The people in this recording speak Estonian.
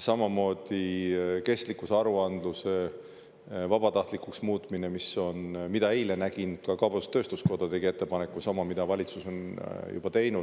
samamoodi kestlikkusaruandluse vabatahtlikuks muutmine, mis on, mida eile, nägin, ka kaubandus-tööstuskoda tegi ettepaneku, sama, mida valitsus on juba teinud.